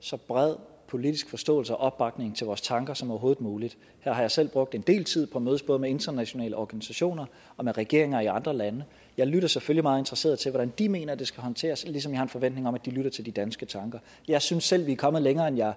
så bred politisk forståelse og opbakning til vores tanker som overhovedet muligt her har jeg selv brugt en del tid på at mødes både med internationale organisationer og med regeringer i andre lande jeg lytter selvfølgelig meget interesseret til hvordan de mener det skal håndteres ligesom jeg har en forventning om at de lytter til de danske tanker jeg synes selv vi er kommet længere end jeg